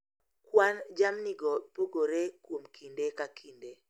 Kwan jamnigo pogore kuom kinde ka kinde,